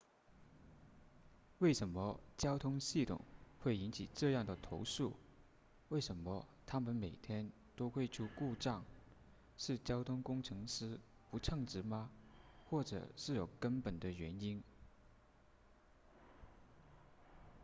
为什么交通系统会引起这样的投诉为什么它们每天都会出故障是交通工程师不称职吗或者是有更根本的原因